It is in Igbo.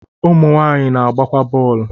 ụmụ nwanyị na-agbakwa bọ̀ọ̀lu